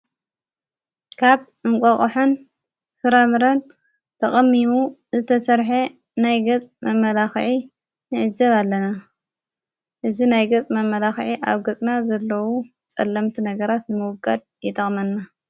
ካብ እንቋቕሖን ፍራምረን ተቐሚሙ ዝተሠርሐ ናይ ገጽ መመላኽዒ ንዕዘብ ኣለና እዝ ናይ ገጽ መመላኽዐ ኣብ ገጽና ዘለዉ ጸለምቲ ነገራት ንምውጋድ ይጠቕመና።